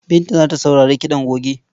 Binta za ta sauri kiɗan goge.